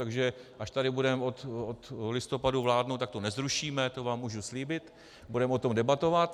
Takže až tady budeme od listopadu vládnout, tak to nezrušíme, to vám můžu slíbit, budeme o tom debatovat.